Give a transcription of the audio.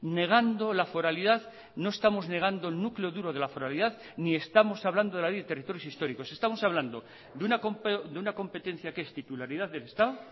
negando la foralidad no estamos negando el núcleo duro de la foralidad ni estamos hablando de la ley de territorios históricos estamos hablando de una competencia que es titularidad del estado